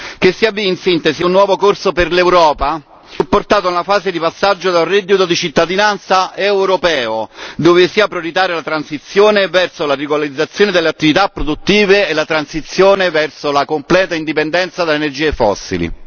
Che sia ben in sintesi un nuovo corso per l'Europa, supportato nella fase di passaggio da un reddito di cittadinanza europeo, dove sia prioritaria la transizione verso la regolarizzazione delle attività produttive e la transizione verso la completa indipendenza dalle energie fossili.